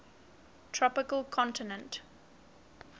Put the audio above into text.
tropical continental ct